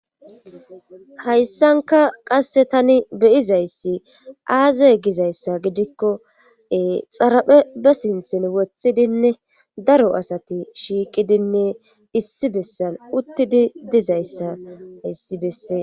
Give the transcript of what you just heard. Hayssanka qasse tani beyizayssi aaza gizayssa gidikkoe xaraphe be sinthin wothidinne daro asati shiiqidinne issi bessan uttidi dizayssa issi bessee